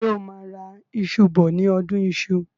Ṣé o máa ra iṣù bọ ní ọdún iṣu?